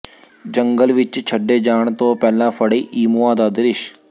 ਜੰਗਲ ਵਿੱਚ ਛੱਡੇ ਜਾਣ ਤੋਂ ਪਹਿਲਾਂ ਫੜੇ ਈਮੂਆਂ ਦਾ ਦ੍ਰਿਸ਼